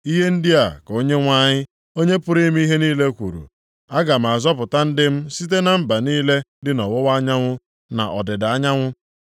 Ihe ndị a ka Onyenwe anyị, Onye pụrụ ime ihe niile kwuru, “Aga m azọpụta ndị m site na mba niile dị nʼọwụwa anyanwụ na nʼọdịda anyanwụ.